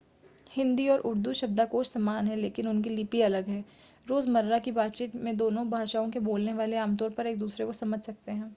हिंदी और उर्दू शब्दाकोश समान हैं लेकिन उनकी लिपि अलग है रोज़मर्रा की बातचीत में दोनों भाषाओं के बोलने वाले आमतौर पर एक-दूसरे को समझ सकते हैं